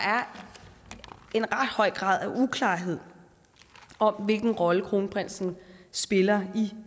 en ret høj grad af uklarhed om hvilken rolle kronprinsen spiller i